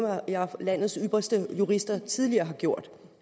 landets ypperste jurister tidligere har gjort